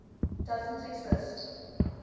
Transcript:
doesn t exist